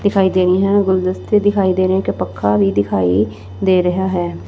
ਦਿਖਾਈ ਦੇ ਰਹੀ ਹੈ ਗੁਲਦਸਤੇ ਦਿਖਾਈ ਦੇ ਰਹੇ ਇੱਕ ਪੱਖਾ ਵੀ ਦਿਖਾਈ ਦੇ ਰਿਹਾ ਹੈ।